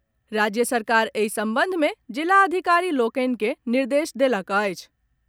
राज्य सरकार एहि संबंध में जिलाधिकारी लोकनि के निर्देश देलक अछि।